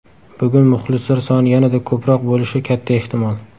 Bugun muxlislar soni yanada ko‘proq bo‘lishi katta ehtimol.